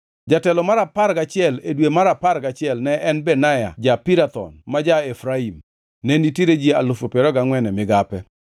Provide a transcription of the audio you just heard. Jatelo mar apar gachiel, e dwe mar apar gachiel ne en Benaya ja-Pirathon ma ja-Efraim. Ne nitiere ji alufu piero ariyo gangʼwen (24,000) e migape.